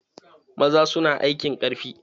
Maza su na aikin ƙarfi.